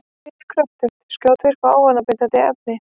Nikótín er kröftugt, skjótvirkt og ávanabindandi efni.